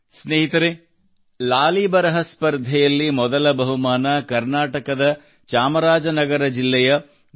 ಸ್ನೇಹಿತರೇ ಲಾಲಿ ಬರಹ ಸ್ಪರ್ಧೆಯಲ್ಲಿ ಮೊದಲ ಬಹುಮಾನ ಕರ್ನಾಟಕದ ಚಾಮರಾಜ ನಗರದ ಜಿಲ್ಲೆಯ ಬಿ